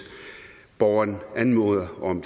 borgeren anmoder om